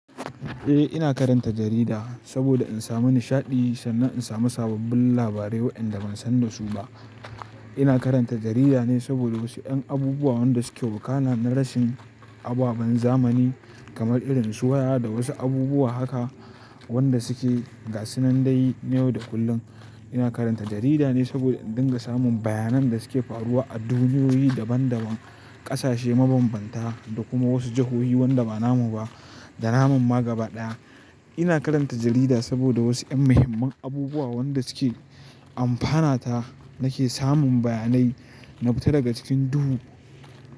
Eh, ina karanta jarida saboda in samu nishaɗi sannan in samu sababbin labarai waɗanda ban san da su ba. Ina karanta jarida ne saboda wasu ƴan abubuwa waɗanda suke wakana na rashin ababen zamani kamar irin su waya da wasu abubuwa haka waɗanda suke gasunan day, yau da kullum. Ina karanta jarida ne saboda in dinga samun bayanan da suke faruwa a duniyoyi daban daban, ƙasashe mabambanta da kuma wasu jahohi waɗanda ba namu ba da namun ma gaba ɗaya. Ina karanta jarida saboda wasu ƴan muhimman abubuwa waɗanda suke amfanata nake samun bayanai na fita daga cikin duhu.